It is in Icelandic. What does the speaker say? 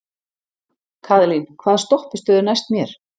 Kaðlín, hvaða stoppistöð er næst mér?